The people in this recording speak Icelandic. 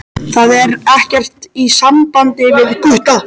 Það er ekkert í sambandi við Gutta.